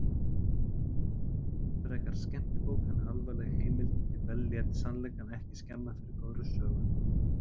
Frekar skemmtibók en alvarleg heimild því Bell lét sannleikann ekki skemma fyrir góðri sögu.